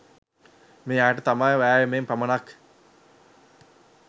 මේ අයට තම වෑයමෙන් පමණක්